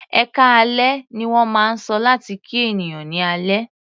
"Ẹkáalẹ́" ní wọ́n máa ń sọ láti kí ènìyàn ní alẹ́.